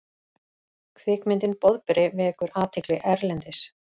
Kvikmyndin Boðberi vekur athygli erlendis